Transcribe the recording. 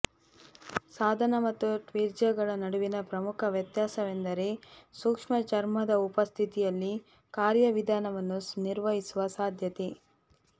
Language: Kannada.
ಸಾಧನ ಮತ್ತು ಟ್ವೀಜರ್ಗಳ ನಡುವಿನ ಪ್ರಮುಖ ವ್ಯತ್ಯಾಸವೆಂದರೆ ಸೂಕ್ಷ್ಮ ಚರ್ಮದ ಉಪಸ್ಥಿತಿಯಲ್ಲಿ ಕಾರ್ಯವಿಧಾನವನ್ನು ನಿರ್ವಹಿಸುವ ಸಾಧ್ಯತೆ